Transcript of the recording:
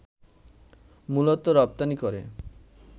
মূলত রপ্তানি করে